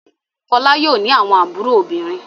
Fọlá yóò ní àwọn àbúrò obìnrin.